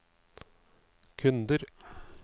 kunder